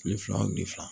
Kile fila o kile fila